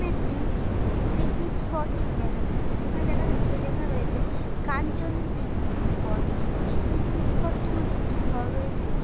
একটি picnic spot দেখানো হয়েছে যেখানে দেখা যাচ্ছে লেখা রয়েছে কাঞ্চন পিকনিক স্পট এই পিকনিক স্পট -এর মধ্যে একটি ঘর রয়েছে।